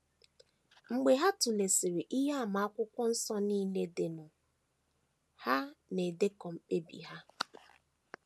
Mgbe ha tụlesịrị ihe àmà Akwụkwọ Nsọ nile dịnụ, ha na - edekọ mkpebi ha.